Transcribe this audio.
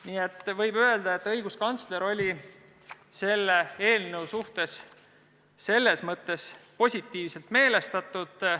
Nii et võib öelda, et õiguskantsler oli eelnõu suhtes selles mõttes positiivselt meelestatud.